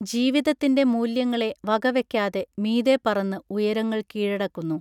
ജീവിതത്തിൻറെ മൂല്യങ്ങളെ വകവെക്കാതെ മീതെ പറന്ന് ഉയരങ്ങൾ കീഴടക്കുന്നു